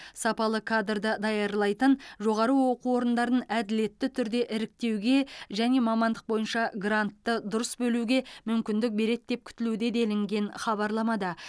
сапалы кадрды даярлайтын жоғары оқу орындарын әділетті түрде іріктеуге және мамандық бойынша грантты дұрыс бөлуге мүмкіндік береді деп күтілуде делінген хабарламада